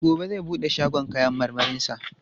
E, gobe zai bude shagon kayan marmarinsa.